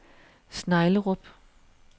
Sneglerup